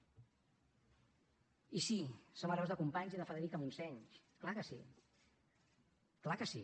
i sí som hereus de companys i de federica montseny clar que sí clar que sí